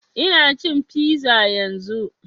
Ina cin fiza yanzun